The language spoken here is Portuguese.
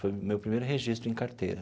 Foi o meu primeiro registro em carteira.